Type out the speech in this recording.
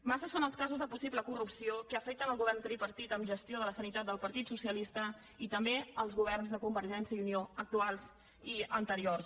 massa són els casos de possible corrupció que afecten el govern tripartit amb gestió de la sanitat del partit socialista i també els governs de convergència i unió actuals i anteriors